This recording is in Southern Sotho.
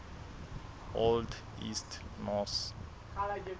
old east norse